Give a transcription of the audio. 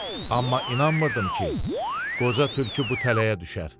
Amma inanmırdım ki, qoca tülkü bu tələyə düşər.